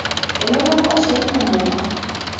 Enoto nkwashen kumok.